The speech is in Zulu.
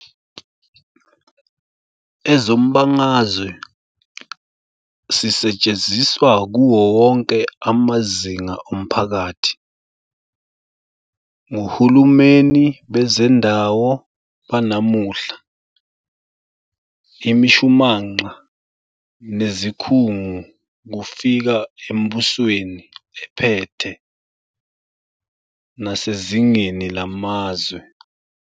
Ezombangazwe sisetshenziswa kuwo wonke amazinga omphakathi, ngohulumeni bezendawo banamuhla, imishumanqa nezikhungu kufika embusweni ephethe, nasezngeni lamazwe.